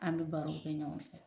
An bɛ baro kɛ ɲɔgɔn fɛ.